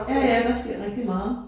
Ja ja der sker rigtig meget